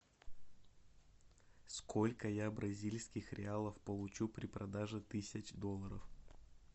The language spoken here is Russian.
сколько я бразильских реалов получу при продаже тысяч долларов